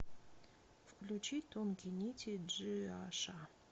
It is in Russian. включи тонкие нити джиаша